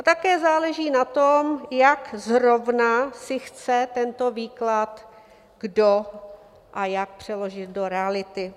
A také záleží na tom, jak zrovna si chce tento výklad kdo a jak přeložit do reality.